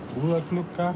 búðarglugga